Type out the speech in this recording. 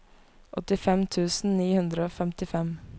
åttifem tusen ni hundre og femtifem